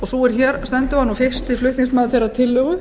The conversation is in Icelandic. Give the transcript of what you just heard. sú er hér stendur var fyrsti flutningsmaður þeirrar tillögu